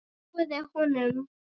Trúirðu honum?